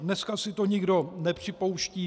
Dneska si to nikdo nepřipouští.